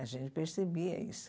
A gente percebia isso.